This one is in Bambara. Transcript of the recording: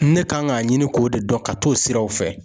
Ne kan k'a ɲini k'o de dɔn ka t'o siraw fɛ.